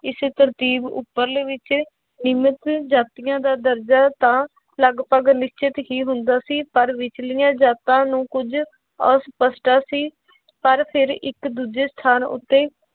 ਇਸ ਤਰਤੀਬ ਉੱਪਰਲੇ ਵਿੱਚ ਨਿਯਮਤ ਜਾਤੀਆਂ ਦਾ ਦਰਜ਼ਾ ਤਾਂ ਲਗਪਗ ਨਿਸ਼ਚਿਤ ਹੀ ਹੁੰਦਾ ਸੀ ਪਰ ਵਿਚਲੀਆਂ ਜਾਤਾਂ ਨੂੰ ਕੁੱਝ ਅਸ਼ਪਸਟਾ ਸੀ ਪਰ ਫਿਰ ਇੱਕ ਦੂਜੇ ਸਥਾਨ ਉੱਤੇ